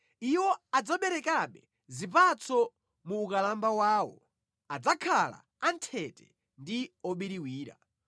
Iwo adzaberekabe zipatso mu ukalamba wawo, adzakhala anthete ndi obiriwira,